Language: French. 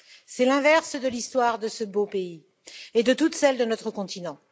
C'est l'inverse de l'histoire de ce beau pays et de toute celle de notre continent.